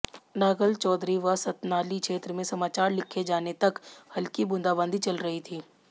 नांगल चौधरी व सतनाली क्षेत्र में समाचार लिखे जाने तक हलकी बूंदाबादी चल रही थी